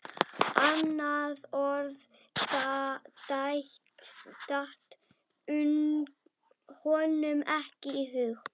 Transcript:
Alveg vissi ég að þetta færi svona!